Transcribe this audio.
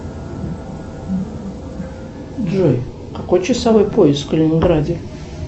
джой какой часовой пояс в калининграде